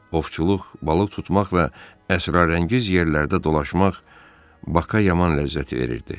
Ovçuluq, balıq tutmaq və əsrarəngiz yerlərdə dolaşmaq Baka yaman ləzzət verirdi.